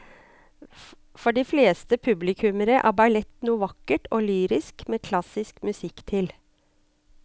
For de fleste publikummere er ballett noe vakkert og lyrisk med klassisk musikk til.